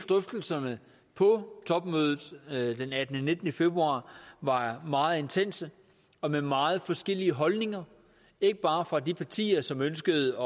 drøftelserne på topmødet den attende og nittende februar var meget intense og med meget forskellige holdninger ikke bare fra de partier som ønskede